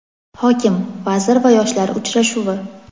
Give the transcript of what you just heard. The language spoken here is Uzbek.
Hokim, vazir va yoshlar uchrashuvi.